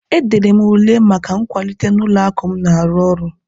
E dere m ule maka nkwalite n'ụlọ akụ m na-arụ ọrụ.